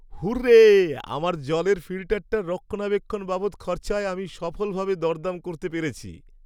Hurray, আমার জলের ফিল্টারটার রক্ষণাবেক্ষণ বাবদ খরচায় আমি সফলভাবে দরদাম করতে পেরেছি।